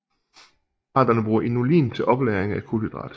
Arterne bruger inulin til oplagring af kulhydrat